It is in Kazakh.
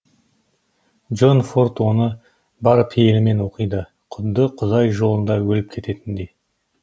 джон форд оны бар пейілімен оқиды құдды құдай жолында өліп кететіндей